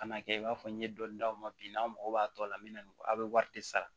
Kan'a kɛ i b'a fɔ n ye dɔni d'aw ma bi n'an mago b'a tɔ la n be na aw be wari de sara